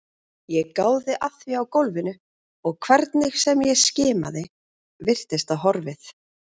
Ég gáði að því á gólfinu og hvernig sem ég skimaði virtist það horfið.